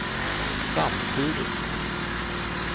samtidigt